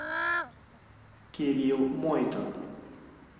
кирилл мойтон